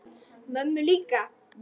Mömmu líka?